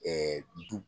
Ɛɛ du